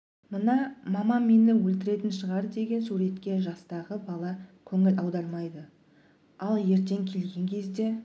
мына мамам мені өлтіретін шығар деген суретке жастағы бала көңіл аудармайды ал ертең келген кезде